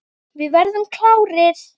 Við verðum klárir.